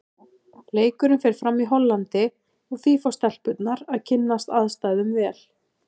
Leikurinn fer fram í Hollandi og því fá stelpurnar að kynnast aðstæðum vel.